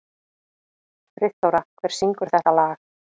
Friðþóra, hver syngur þetta lag?